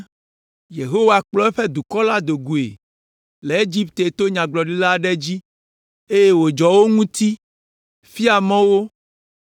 Yehowa kplɔ eƒe dukɔ la do goe le Egipte to nyagblɔɖila aɖe dzi, eye wòdzɔ wo ŋuti, fia mɔ wo,